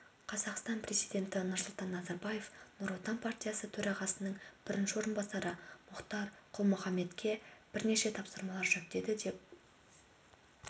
қазақстан президенті нұрсұлтан назарбаев нұр отан партиясы төрағасының бірінші орынбасары мұхтар құл-мұхаммедке бірнеше тапсырмалар жүктеді деп